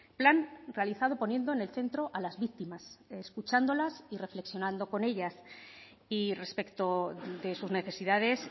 plan realizado poniendo en el centro a las víctimas escuchándolas y reflexionando con ellas y respecto de sus necesidades